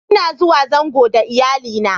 N'na zuwa zango da Iyalli na.